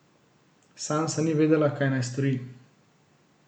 Sansa ni vedela, kaj naj stori.